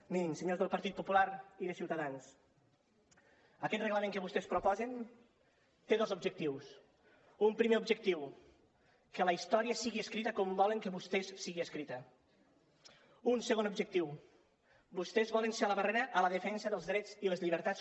mirin senyors del partit popular i de ciutadans aquest reglament que vostès proposen té dos objectius un primer objectiu que la història sigui escrita com volen vostès que sigui escrita un segon objectiu vostès volen ser la barrera a la defensa dels drets i les llibertats